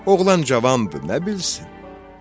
Oğlan cavan da, bilirsən?